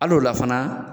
Hali o la fana